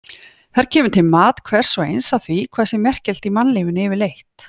Þar kemur til mat hvers og eins á því hvað sé merkilegt í mannlífinu yfirleitt.